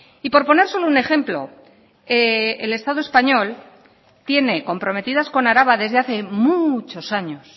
y por poner solo un ejemplo el estado español tiene comprometidas con araba desde hace muchos años